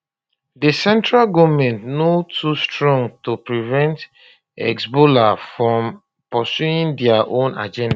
di central goment no too strong to prevent hezbollah from pursuing dia own agenda